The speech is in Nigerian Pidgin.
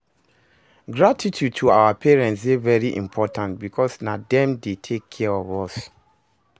Gratitude to our parents de very important because na dem de take care of us